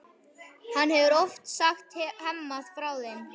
Hann hefur oft sagt Hemma frá þeim.